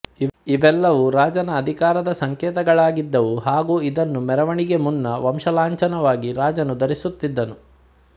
ಇವೆಲ್ಲವೂ ರಾಜನ ಅಧಿಕಾರದ ಸಂಕೇತಗಳಾಗಿದ್ದವು ಹಾಗು ಇದನ್ನು ಮೆರವಣಿಗೆ ಮುನ್ನ ವಂಶಲಾಂಛನವಾಗಿ ರಾಜನು ಧರಿಸುತ್ತಿದ್ದನು